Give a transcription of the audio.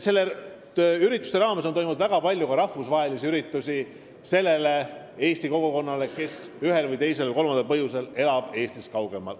Samuti on toimunud väga palju rahvusvahelisi üritusi sellele Eesti kogukonnale, kes ühel, teisel või kolmandal põhjusel elab Eestist kaugemal.